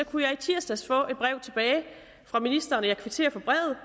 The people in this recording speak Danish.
kunne jeg i tirsdags få et brev tilbage fra ministeren og jeg kvitterer for brevet